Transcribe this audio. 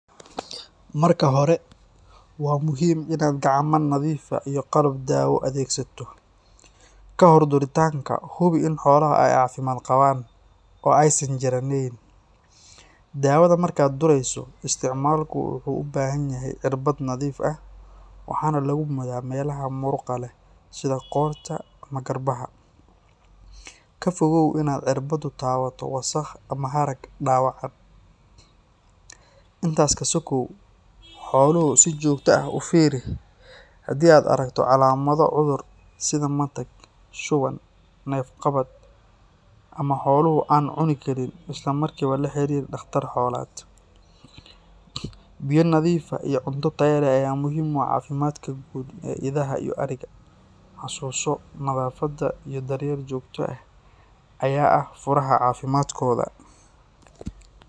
Marka hore, waa muhiim inaad gacmo nadiif ah iyo qalab daawo adeegsato. Ka hor duritaanka, hubi in xoolaha ay caafimaad qabaan, oo aysan jirraneyn. Daawada markaad durayso, isticmaalkiisu wuxuu u baahan yahay cirbad nadiif ah, waxaana lagu mudaa meelaha muruqa leh sida qoorta ama garbaha. Ka fogow inaad cirbaddu taabato wasakh ama harag dhaawacan. Intaas ka sokow, xoolaha si joogto ah u fiiri, hadii aad aragto calaamado cudur sida matag, shuban, neef-qabad ama xoolo aan cuni karin, isla markiiba la xiriir dhakhtar xoolaad. Biyo nadiif ah iyo cunto tayo leh ayaa muhiim u ah caafimaadka guud ee idaha iyo ariga. Xasuuso, nadaafadda iyo daryeel joogto ah ayaa ah furaha caafimaadkooda.